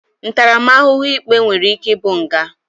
Ntaramahuhu ikpe nwere ike i bu nga.